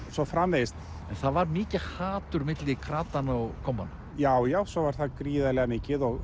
svo framvegis en það var mikið hatur milli kratanna og kommanna já já svo var það gríðarlega mikið og